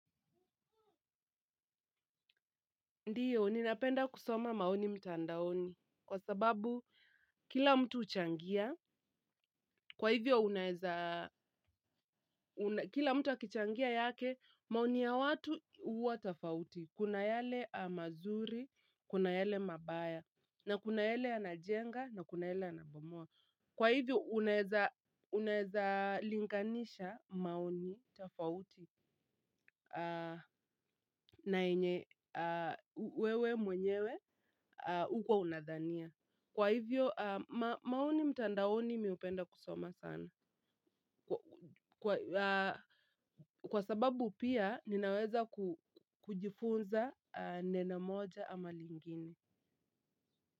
Ndiyo, ni napenda kusoma maoni mtandaoni, kwa sababu kila mtu huchangia, kwa hivyo unaweza, kila mtu akichangia yake, maoni ya watu uwa tofauti, kuna yale mazuri, kuna yale mabaya, na kuna yale yanajenga, na kuna yale yanabomua. Kwa hivyo unaweza linganisha maoni tofauti. Na yenye wewe mwenyewe uko unadhania. Kwa hivyo maoni mtandaoni mimi hupenda kusoma sana. Kwa sababu pia ninaweza kujifunza neno moja ama lingine.